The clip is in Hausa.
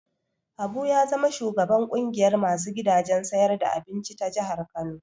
Habu ya zama shugaban ƙungiyar ma su gidajen siyar da abinci ta jihar Kano.